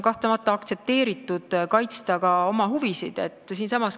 Kahtlemata on aktsepteeritav oma huvisid kaitsta.